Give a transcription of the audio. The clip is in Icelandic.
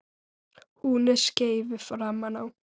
Hún er skeifu framan á.